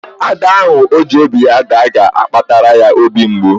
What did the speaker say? Ada ahụ ọ ji obi ya daa ga-akpatara ya obi mgbu.